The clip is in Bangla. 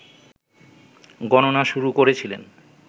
গণনা শুরু করেছিলেন